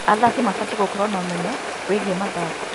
Athaki mabatiĩ gũkorwo na ũmenyo wĩgiĩ mathako.